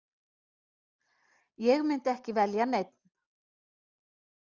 Ég myndi ekki velja neinn.